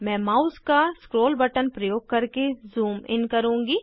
मैं माउस का scroll button प्रयोग करके ज़ूम इन करुँगी